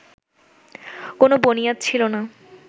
কোন বনিয়াদ ছিল না